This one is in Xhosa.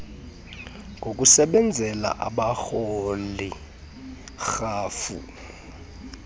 ngokusebenzela abarholi rhafu